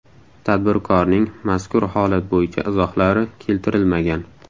Tadbirkorning mazkur holat bo‘yicha izohlari keltirilmagan.